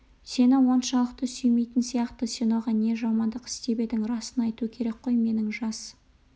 сені оншалықты сүймейтін сияқты сен оған не жамандық істеп едің расын айту керек қой менің жас